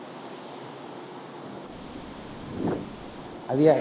அது யாரு